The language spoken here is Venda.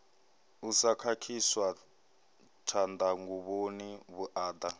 u sa khakhiswa tshanḓanguvhoni vhuaḓa